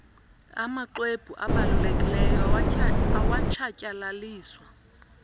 amxwebhu abalulekileyo awatshatyalaliswa